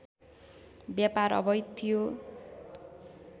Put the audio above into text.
व्यापार अवैध थियो